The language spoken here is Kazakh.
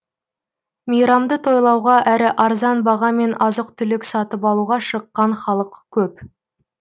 мейрамды тойлауға әрі арзан бағамен азық түлік сатып алуға шыққан халық көп